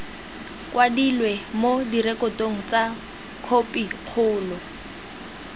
kwadilwe mo direkotong tsa khopikgolo